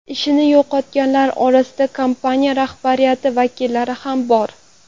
Ishini yo‘qotganlar orasida kompaniya rahbariyati vakillari ham bor.